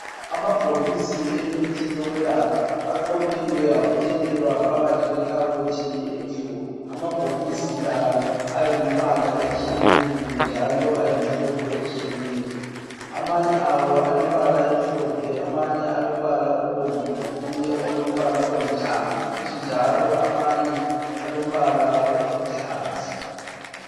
Amabhokisi emithi yokwelapha aqoqiwe abuthelelwa phakathi kwekhabothi emhlophe, amabhokisi la ayimbala etshiyeneyo njalo ayimhlobo etshiyeneyo. Amanye awo alombala emhlophe amanye alombala obomvu lokunye okulombala olithanga kuthi njalo amanye alombala oluhlaza.